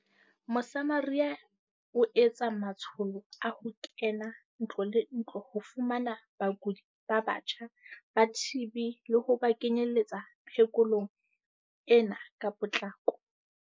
Mosamaria e etsa matsho lo a ho kena ntlo le ntlo ho fumana bakudi ba batjha ba TB le ho ba kenyeletsa phe kolong ena ka potlako.